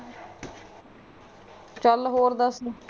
ਚੱਲ ਹੋਰ ਦਸ ਤੂੰ?